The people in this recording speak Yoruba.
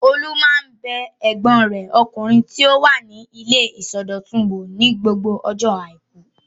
Olú máa ń bẹ ẹ̀gbọ́n rẹ̀ ọkùnrin tí ó wà ní ilé ìsọdọ̀tun wò ní gbogbo ọjọ́ àìkú.